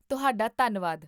ਤੁਹਾਡਾ ਧੰਨਵਾਦ!